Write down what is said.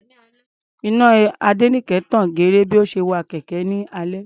Iná Adéníkẹ tan geere bí ó ṣe wa kẹ̀kẹ́ ní alẹ́.